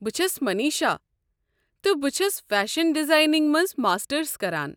بہٕ چھس مٔنیٖشا، تہٕ بہٕ چھس فیشن ڈزایننٛگ منٛز ماسٹٕرس کران۔